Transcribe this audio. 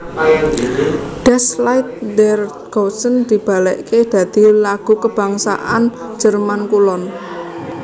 Das Lied der Deutschen dibalèkaké dadi lagu kabangsan Jerman Kulon